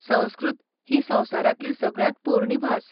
संस्कृत ही संवसारांतली सगळ्यांत पोरणी भास.